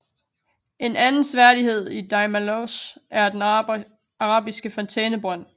En anden seværdighed i Daimalos er den arabiske fontænebrønd